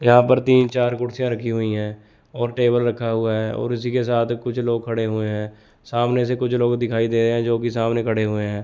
यहां पर तीन चार कुर्सीयां रखी हुई है और टेबल रखा हुआ है और इसी के साथ कुछ लोग खड़े हुए हैं सामने से कुछ लोग दिखाई दे रहे हैं जोकि सामने खड़े हुए हैं।